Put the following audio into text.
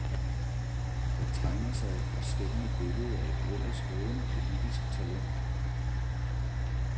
Der tegner sig et forstemmende billede af et ellers lovende politisk talent.